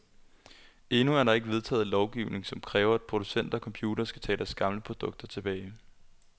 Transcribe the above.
Endnu er der ikke vedtaget lovgivning, som kræver, at producenter af computere skal tage deres gamle produkter tilbage.